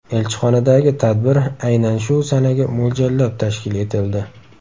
Elchixonadagi tadbir aynan shu sanaga mo‘ljallab tashkil etildi.